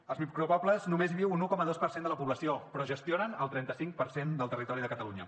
als micropobles només hi viu un un coma dos per cent de la població però gestionen el trenta cinc per cent del territori de catalunya